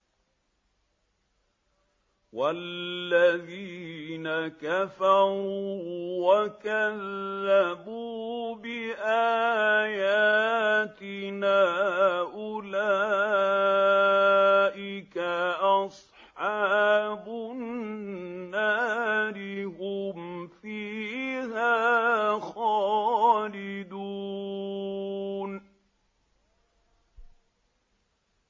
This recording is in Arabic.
وَالَّذِينَ كَفَرُوا وَكَذَّبُوا بِآيَاتِنَا أُولَٰئِكَ أَصْحَابُ النَّارِ ۖ هُمْ فِيهَا خَالِدُونَ